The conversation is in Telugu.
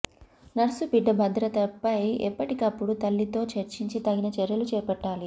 నర్సు బిడ్డ భధ్రతపై ఎప్పటికపుడు తల్లితో చర్చించి తగిన చర్యలు చేపట్టాలి